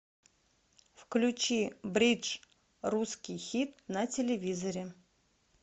включи бридж русский хит на телевизоре